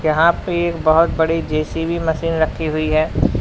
यहां पे बहुत एक बड़ी जे_सी_बी मशीन रखी हुई है।